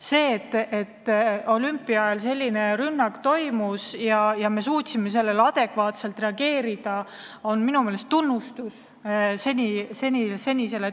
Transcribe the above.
See, et MM-i ajal selline rünnak toimus ja me suutsime sellele adekvaatselt reageerida, on minu meelest tunnustus senisele tööle.